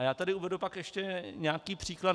A já tady uvedu pak ještě nějaký příklad.